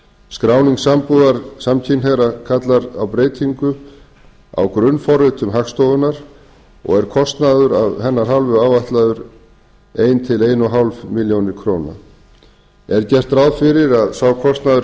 skráning sambúðar samkynhneigðra kallar á breytingu á grunnforritum hagstofunnar og er kostnaður af hennar hálfu áætlaður eitt til eins og hálfa milljón króna er gert ráð fyrir að sá kostnaður